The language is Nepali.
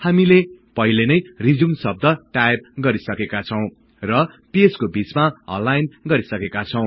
हामीले पहिलेनै रिज्युम शव्द टाईप गरिसकेका छौँ र पेजको बिचमा अलाइन गरिसकेका छौँ